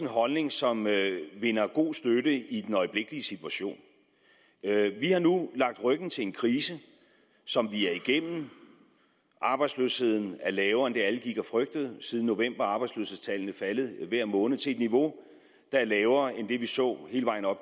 holdning som vinder god støtte i den øjeblikkelige situation vi har nu lagt ryg til en krise som vi er igennem arbejdsløsheden er lavere end det alle gik og frygtede siden november er arbejdsløshedstallene faldet hver måned til et niveau der er lavere end det vi så hele vejen op